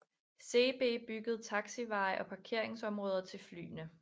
Seebee byggede taxiveje og parkeringsområder til flyene